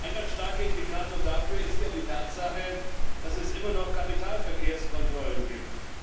Ein ganz starker Indikator dafür ist ja die Tatsache, dass es immer noch Kapitalverkehrskontrollen gibt.